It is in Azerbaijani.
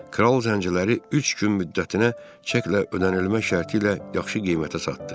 Kral zəncləri üç gün müddətinə çəklə ödənilmək şərti ilə yaxşı qiymətə satdı.